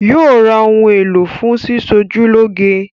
Yóò ra ohun èlò fún sísọjúlọ́ge